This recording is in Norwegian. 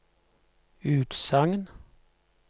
utsagn